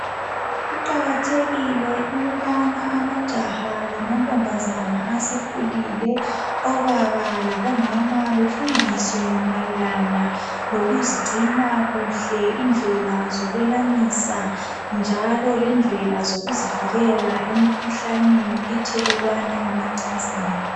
Kuqakathekile ukubana amajaha lamantombazana asekhulile obaba labomama befundiswe mayelana lokuzigcina kuhle indlela zokwelamisa njalo lendlela zokuzivikela emikhuhlaneni ethelelwana emacansini.